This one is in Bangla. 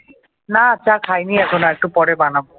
না চা খাই নি এখনও একটু পরে বানাবো ।